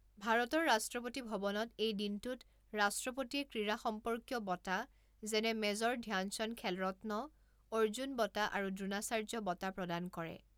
ভাৰতৰ ৰাষ্ট্ৰপতি ভৱনত এই দিনটোত ৰাষ্ট্ৰপতিয়ে ক্ৰীড়া সম্পৰ্কীয় বঁটা যেনে মেজৰ ধ্যানচান্দ খেলৰত্ন, অৰ্জুন বঁটা আৰু দ্ৰোনাচাৰ্য বঁটা প্ৰদান কৰে।